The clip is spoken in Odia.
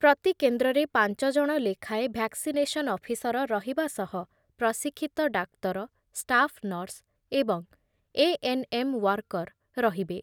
ପ୍ରତିକେନ୍ଦ୍ରରେ ପାଞ୍ଚ ଜଣ ଲେଖାଏଁ ଭ୍ୟାକ୍ସିନେସନ୍ ଅଫିସର ରହିବା ସହ ପ୍ରଶିକ୍ଷିତ ଡାକ୍ତର, ଷ୍ଟାଫନର୍ସ ଏବଂ ଏଏନ୍‌ଏମ୍ ୱାର୍କର ରହିବେ।